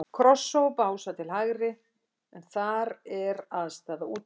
Krossá og Básar til hægri, en þar er aðstaða Útivistar.